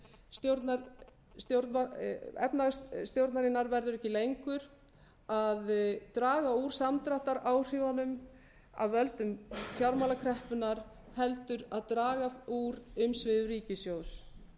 því að markmið efnahagsstjórnarinnar verður ekki lengur að draga úr samdráttaráhrifunum af völdum fjármálakreppunnar heldur að draga úr umsvifum ríkissjóðs